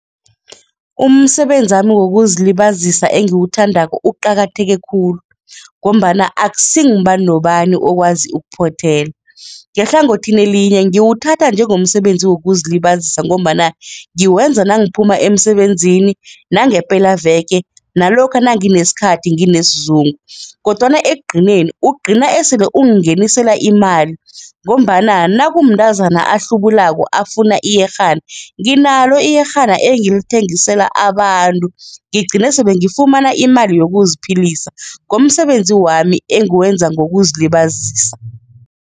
Umsebenzami wokuzilibazisa engiwuthandako uqakatheke khulu ngombana akusingubana nobani okwazi ukuphothela, ngehlangothini elinye ngiwuthatha njengomsebenzi wokuzilibazisa ngombana ngikwenza nangiphumako emisebenzini nange pelaveke nalokha nangithi nesikhathi nginesizungu kodwana ekugcineni, ugcina esele ungingenisela imali ngombana nakumntazana ahlubulako afuna iyerhana nginalo iyerhana engilithengisela abantu, ngigcine sengifumana imali yokuziphilisa ngomsebenzi wami engiwenza ngokuzilibazisa.